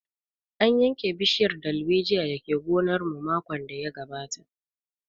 An yanke bishiyar dalbejiyar da ke gonar mu makon da ya gabata